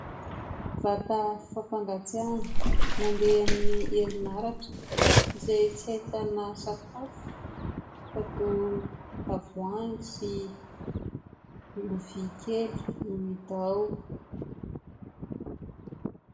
Vata fampangatsiahana mandeha amin'ny herin'aratra, izay tsy ahitana sakafo fa toa tavohangy sy lovia kely no hita ao.